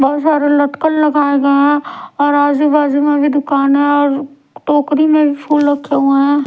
बहोत सारे लटकन लगाए गए हैं और आजू बाजू में भी दुकान है और टोकरी में फूल रखे हुए हैं।